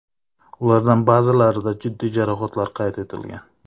Ulardan ba’zilarida jiddiy jarohatlar qayd etilgan.